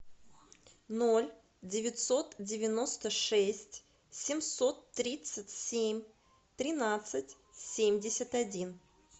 ноль девятьсот девяносто шесть семьсот тридцать семь тринадцать семьдесят один